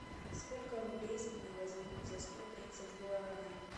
сколько рублей с меня возьмут за сто тридцать гуарани